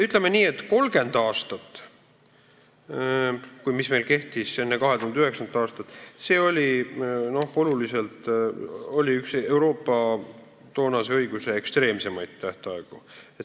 Ütleme nii, et 30 aastat, mis meil kehtis enne 2009. aastat, oli üks Euroopa toonase õiguse ekstreemseimaid tähtaegu.